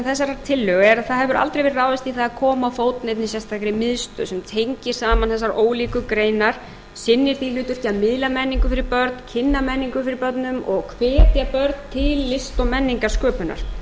þessarar tillögu er að það hefur aldrei verið ráðist í það að koma á fót neinni sérstakri miðstöð sem tengir saman þessar ólíku greinar sinni því hlutverki að miðla menningu fyrir börn kynna menningu fyrir börnum og hvetja börn til list og menningarsköpunar í